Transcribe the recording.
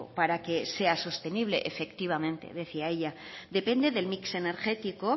para que sea sostenible efectivamente decía ella depende del mix energético